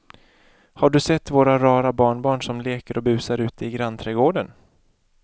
Har du sett våra rara barnbarn som leker och busar ute i grannträdgården!